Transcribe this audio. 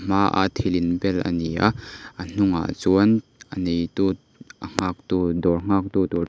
hmaa thil inbel ani a a hnungah chuan a nei tu a nghaktu dawr nghaktu tur--